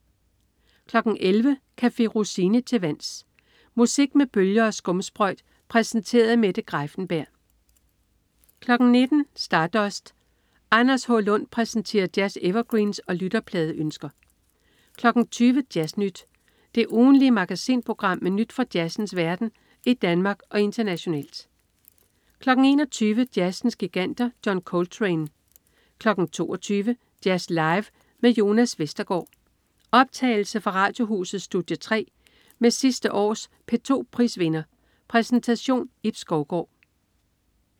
11.00 Café Rossini til vands. Musik med bølger og skumsprøjt præsenteret af Mette Greiffenberg 19.00 Stardust. Anders H. Lund præsenterer jazz-evergreens og lytterpladeønsker 20.00 Jazz Nyt. Det ugentlige magasinprogram med nyt fra jazzens verden i Danmark og internationalt 21.00 Jazzens Giganter. John Coltrane 22.00 Jazz Live med Jonas Westergaard. Optagelse fra Radiohusets studie 3 med sidste års P2 prisvinder. Præsentation: Ib Skovgaard